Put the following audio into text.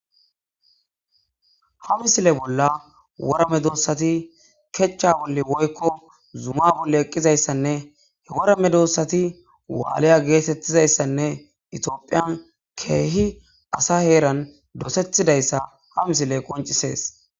Ha misile bolla wora medosati kecca bolla woykko zuma bolla eqqiyayssanne he wora medosati waaliya geetettiyayssanne itophphiyan keehi asa dosetida ha misiley qonccises.